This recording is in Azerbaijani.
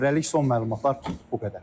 Hələlik son məlumatlar bu qədər.